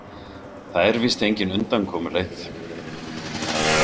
Það er víst engin undankomuleið.